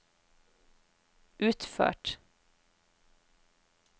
utført